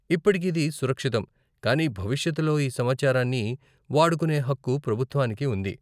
ఇప్పటికి ఇది సురక్షితం, కానీ భవిష్యత్తులో ఈ సమాచారాన్ని వాడుకునే హక్కు ప్రభుత్వానికి ఉంది.